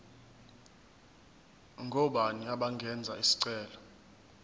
ngobani abangenza isicelo